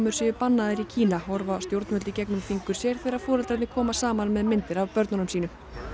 séu bannaðar í Kína horfa stjórnvöld í gegnum fingur sér þegar foreldrarnir koma saman með myndir af börnum sínum